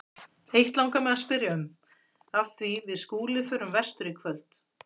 Eitt langar mig að spyrja um, af því við Skúli förum vestur í kvöld.